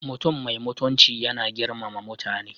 Mutum mai mutunci yana girmama mutane.